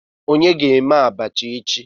Onye ga eme abacha echi?